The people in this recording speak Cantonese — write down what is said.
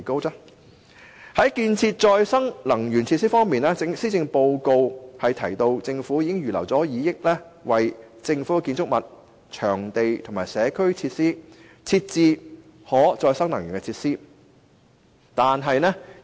在建設可再生能源設施方面，施政報告提到政府已預留2億元為政府建築物、場地及社區設施等設置可再生能源設施。